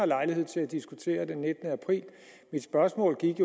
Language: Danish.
lejlighed til at diskutere ved nittende april mit spørgsmål gik